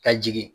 Ka jigin